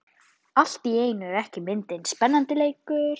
Allt í einu er myndin ekki spennandi lengur.